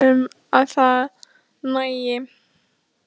Ég er ekki viss um að það nægi